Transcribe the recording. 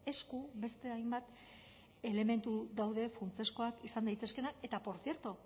esku beste hainbat elementu daude funtsezkoak izan daitezkeenak eta portzierto